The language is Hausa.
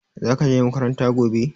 Za ka je makaranta gobe?